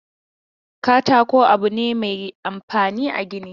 Katako abu ne mai amfani a gini.